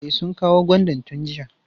E, sun kawo gwandan tun jiya.